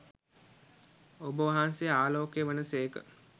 ඔබවහන්සේ ආලෝකය වන සේක.